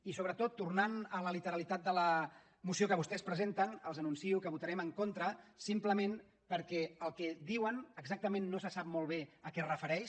i sobretot tornant a la literalitat de la moció que vostès presenten els anuncio que votarem en contra simplement perquè el que diuen exactament no se sap molt bé a què es refereix